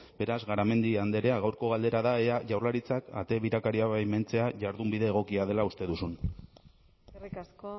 beraz garamendi andrea gaurko galdera da ea jaurlaritzak ate birakariak baimentzea jardunbide egokia dela uste duzun eskerrik asko